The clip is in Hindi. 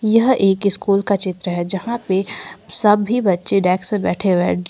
यह एक स्कूल का चित्र है जहां पे सभी बच्चे डेस्क पे बैठे हुए--